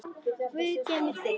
Guð geymi þig, elsku amma.